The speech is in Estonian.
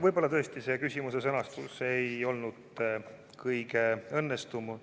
Võib-olla tõesti see küsimuse sõnastus ei olnud kõige õnnestunum.